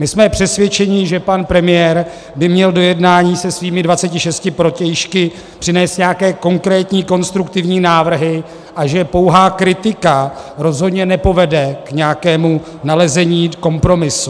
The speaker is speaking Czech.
My jsme přesvědčeni, že pan premiér by měl do jednání se svými 26 protějšky přinést nějaké konkrétní konstruktivní návrhy a že pouhá kritika rozhodně nepovede k nějakému nalezení kompromisu.